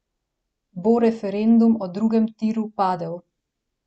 Bo referendum o drugem tiru padel?